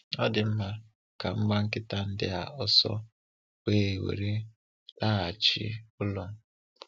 Ọ dị mma, ka m gbaa nkịta ndị a ọsọ, wee were ha laghachi ụlọ.